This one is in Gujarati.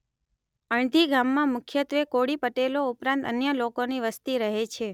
અણધી ગામમાં મુખ્યત્વે કોળી પટેલો ઉપરાંત અન્ય લોકોની વસ્તી રહે છે